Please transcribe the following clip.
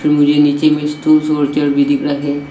मुझे नीचे में स्टूल्स और चेयर भी दिख रहा है।